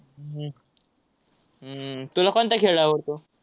हम्म तुला कोणता खेळ आवडतो?